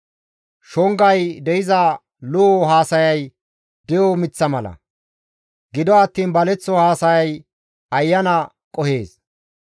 Shongay de7iza lo7o haasayay de7o miththa mala; gido attiin baleththo haasayay ayana qohees.